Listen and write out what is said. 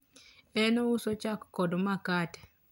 en ouso chak kod makate